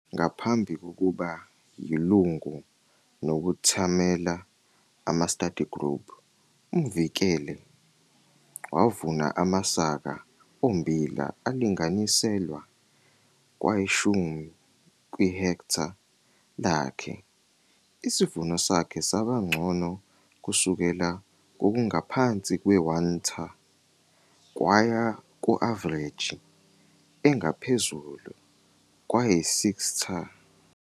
Ngaphambi kokuba yilungu nokuthamela ama-study group, uMvikele wavuna amasaka ommbila alinganiselwa kwayishumi kwi-hektha lakhe. Isivuno sakhe saba ngcono kusukela kokungaphansi kwe-1 t ha kwaya ku-avareji engaphezulu kwayi-6 t ha.